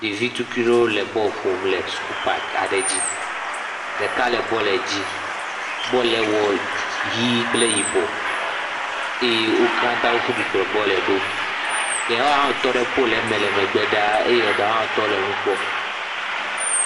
Ɖevituikui ɖewo le bɔl ƒom suku pak aɖe dzi, bɔl wɔ ʋɛ̃ɛ̃ kple yibɔ, eye wo katã woƒu du kplɔ bɔl ɖo, ɖewo hã wotɔ ɖe pol me le megbe ɖaa eye ɖewo hã wotɔ le nu kpɔm.